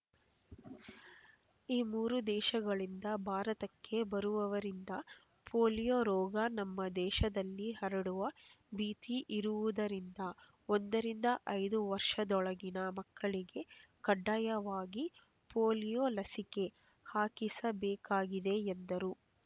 ಈ ಮೂರು ದೇಶಗಳಿಂದ ಭಾರತಕ್ಕೆ ಬರುವವರಿಂದ ಪೋಲಿಯೋ ರೋಗ ನಮ್ಮ ದೇಶದಲ್ಲಿ ಹರಡುವ ಭೀತಿ ಇರುವುದರಿಂದ ಒಂದರಿಂದ ಐದು ವರ್ಷದೊಳಗಿನ ಮಕ್ಕಳಿಗೆ ಕಡ್ಡಾಯವಾಗಿ ಪೋಲಿಯೋ ಲಸಿಕೆ ಹಾಕಿಸಬೇಕಾಗಿದೆ ಎಂದರು